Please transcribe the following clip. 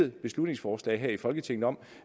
et beslutningsforslag her i folketinget om